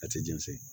A tɛ jɛn segu